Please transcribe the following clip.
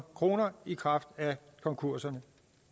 kroner i kraft af konkurserne